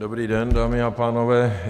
Dobrý den, dámy a pánové.